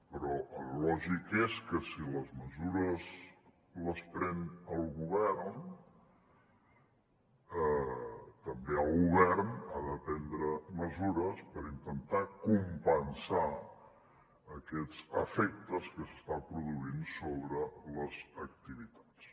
però el lògic és que si les mesures les pren el govern també el govern ha de prendre mesures per intentar compensar aquests efectes que s’estan produint sobre les activitats